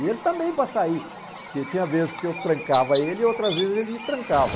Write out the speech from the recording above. E ele também para sair, porque tinha vezes que eu trancava ele e outras vezes ele me trancava.